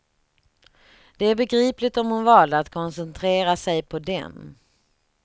Det är begripligt om hon valde att koncentrera sig på den.